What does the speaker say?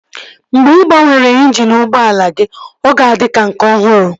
Mgbe ị gbanwere injini ụgbọala gị, ọ ga-adị ka nke ọhụrụ